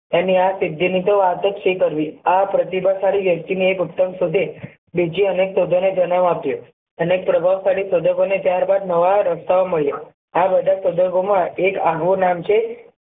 એની આ સિદ્ધી ની તો વાત જ શી કરવી આ પ્રતિભાશાળી વ્યક્તિ ને એક ઉત્તમ સાથે બીજી અનેક ને જનમ આપ્યો એને પ્રભાવશાળી ત્યારબાદ નવો રસ્તા ઓ મળ્યા આ બધા પ્રસંગો માં નું નામ છે